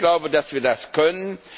Ich glaube, dass wir das können.